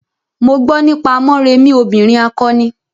Mo gbo nípa Morèmi obìrin akọni.